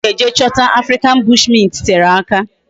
Ebe anyi ga eje chota African bushmint tere aka